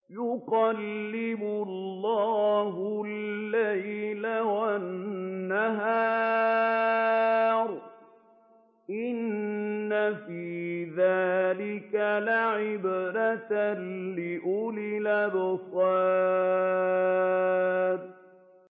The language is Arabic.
يُقَلِّبُ اللَّهُ اللَّيْلَ وَالنَّهَارَ ۚ إِنَّ فِي ذَٰلِكَ لَعِبْرَةً لِّأُولِي الْأَبْصَارِ